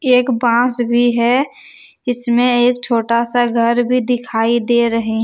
एक बास भी है इसमें एक छोटा सा घर भी दिखाई दे रहे--